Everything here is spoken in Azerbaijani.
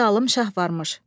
Bir zalım şah varmış.